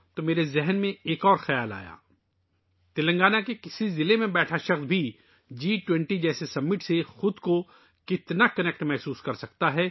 مجھے یہ دیکھ کر بہت خوشی ہوئی کہ تلنگانہ کے ایک ضلع میں بیٹھا ایک شخص بھی جی 20 جیسے سمٹ سے کتنا جڑا ہوا محسوس کر سکتا ہے